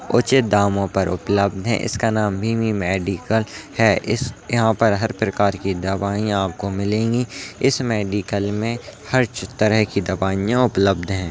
उचित दामों पर उपलब्ध हैं इसका नाम वी.एम्. मेडिकल है इस यहां पर हर प्रकार की दवाएं आपको मिलेंगी इस मेडिकल में हर तरह की दवाइयां उपलब्ध हैं।